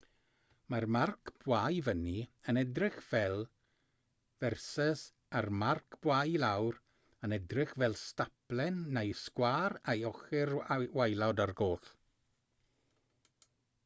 mae'r marc bwa i fyny yn edrych fel v a'r marc bwa i lawr yn edrych fel staplen neu sgwâr â'i ochr waelod ar goll